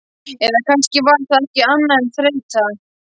Eða kannski var það ekki annað en þreyta.